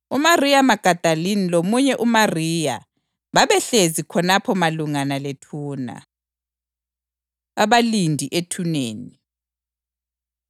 UMariya Magadalini lomunye uMariya babehlezi khonapho malungana lethuna. Abalindi Ethuneni